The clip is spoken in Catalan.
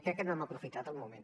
crec que no hem aprofitat el moment